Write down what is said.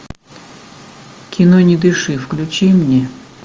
кино не дыши включи мне